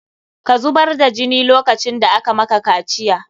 Ka zubar da jini lokacin da aka maka kaciya!